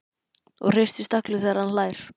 Og hristist allur þegar hann hlær.